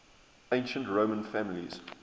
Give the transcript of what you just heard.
ancient roman families